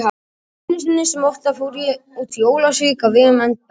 Einu sinni sem oftar fór ég út í Ólafsvík á vegum embættisins.